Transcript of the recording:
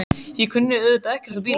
Ég kunni auðvitað ekkert á bíla.